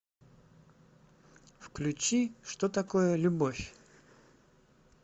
включи что такое любовь